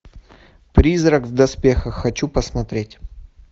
призрак в доспехах хочу посмотреть